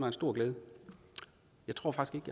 en stor glæde jeg tror faktisk